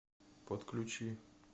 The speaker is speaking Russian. подключи